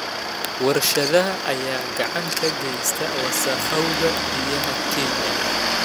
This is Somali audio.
Warshadaha ayaa gacan ka geysta wasakhowga biyaha Kenya.